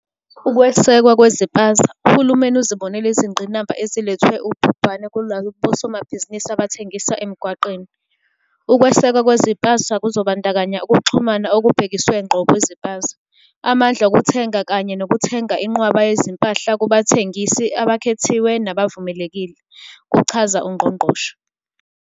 Ukwesekwa Kweziphaza. Uhulumeni uzibonile izingqinamba ezilethwe ubhubhane kulabosomabhizinisi abathengisa emgwaqeni. "Ukwesekwa kweziphaza kuzobandakanya ukuxhumana okubhekiswe ngqo kwiziphaza, amandla okuthenga kanye nokuthenga inqwaba yezimpahla kubathengisi abakhethiwe nabavumelekile," kuchaza uNgqongqoshe.